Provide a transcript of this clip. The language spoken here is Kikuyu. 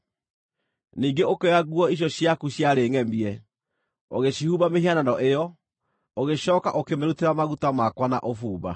Ningĩ ũkĩoya nguo icio ciaku ciarĩ ngʼemie, ũgĩcihumba mĩhianano ĩyo, ũgĩcooka ũkĩmĩrutĩra maguta makwa na ũbumba.